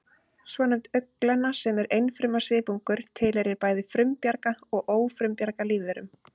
Svonefnd augnglenna, sem er einfruma svipungur, tilheyrir bæði frumbjarga og ófrumbjarga lífverum